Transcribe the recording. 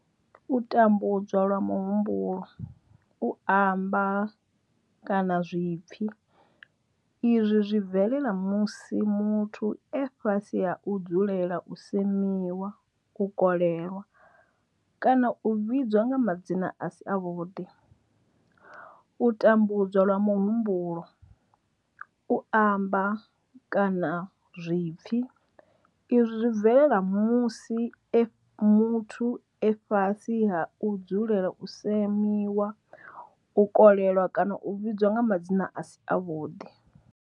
U tambudzwa lwa muhumbulo, u amba, kana zwipfi izwi zwi bvelela musi muthu e fhasi ha u dzulela u semiwa, u kolelwa kana u vhidzwa nga madzina a si avhuḓi. U tambudzwa lwa muhumbulo, u amba, kana zwipfi izwi zwi bvelela musi muthu e fhasi ha u dzulela u semiwa, u kolelwa kana u vhidzwa nga madzina a si avhuḓi.